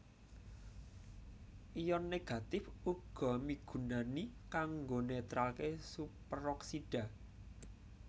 Ion Négatif uga migunani kanggo netralké Superoksida